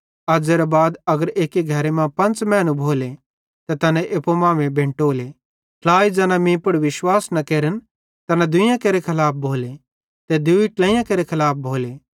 अज़्ज़ेरे बाद अगर एक्की घरे मां पंच़ मैनू भोले त तैना एप्पू मांमेइं बेंटोले ट्लाई ज़ैना मीं पुड़ विश्वास न केरन तैना दुइयां केरे खलाफ भोले ते दूई ट्लेइयां केरे खलाफ भोले